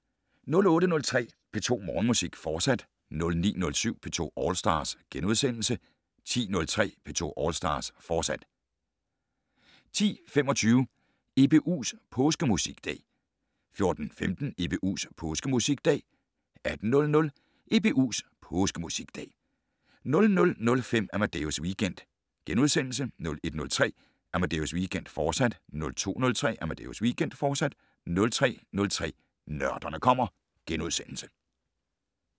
08:03: P2 Morgenmusik, fortsat 09:07: P2 All Stars * 10:03: P2 All Stars, fortsat 10:25: EBUs Påskemusikdag 14:15: EBUs Påskemusikdag 18:00: EBUs Påskemusikdag 00:05: Amadeus Weekend * 01:03: Amadeus Weekend, fortsat 02:03: Amadeus Weekend, fortsat 03:03: Nørderne kommer *